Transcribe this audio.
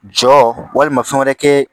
Jɔ walima fɛn wɛrɛ kɛ